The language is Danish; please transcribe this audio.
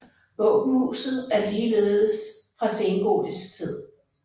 Våbenhuset er ligeledes fra sengotisk tid